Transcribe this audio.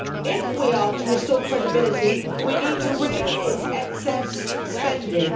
If we are to restore credibility we need to rein in excess spending.